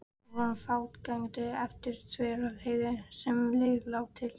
Við fórum fótgangandi yfir Þverdalsheiði og sem leið lá til